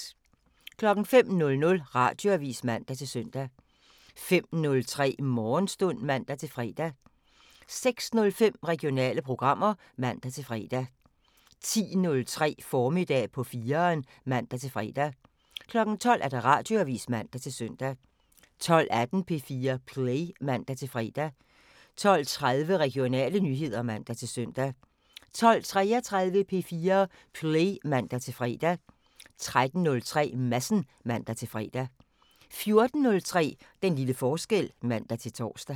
05:00: Radioavisen (man-søn) 05:03: Morgenstund (man-fre) 06:05: Regionale programmer (man-fre) 10:03: Formiddag på 4'eren (man-fre) 12:00: Radioavisen (man-søn) 12:18: P4 Play (man-fre) 12:30: Regionale nyheder (man-søn) 12:33: P4 Play (man-fre) 13:03: Madsen (man-fre) 14:03: Den lille forskel (man-tor)